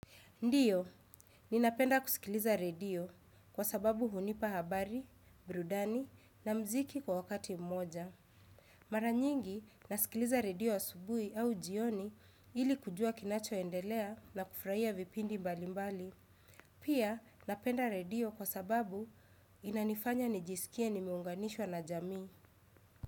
Ndio ninapenda kusikiliza redio kwa sababu hunipa habari, burudani, na muziki kwa wakati mmoja. Mara nyingi, nasikiliza redio asubuhi au jioni ili kujua kinachoendelea na kufurahia vipindi mbali mbali. Pia, napenda redio kwa sababu inanifanya nijisikie nimeunganishwa na jamii.